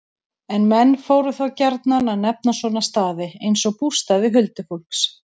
En menn fóru þá gjarnan að nefna svona staði, eins og bústaði huldufólks.